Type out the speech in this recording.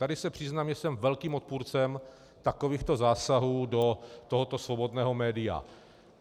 Tady se přiznám, že jsem velkým odpůrcem takovýchto zásahů do tohoto svobodného média.